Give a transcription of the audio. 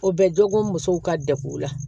O bɛ dɔgɔkun musow ka deguw la